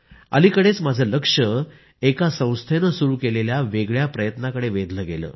अलिकडेच माझं लक्ष एका संस्थेनं सुरू केलेल्या वेगळ्या प्रयत्नाकडे वेधलं गेलं